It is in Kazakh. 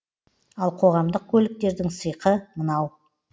ал қоғамдық көліктердің сиқы мынау